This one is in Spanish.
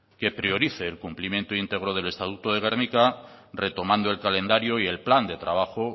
que priorice el cumplimiento íntegro del estatuto de gernika retomando el calendario y el plan de trabajo